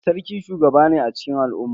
Sarki shugaba ne a cikin al'umma.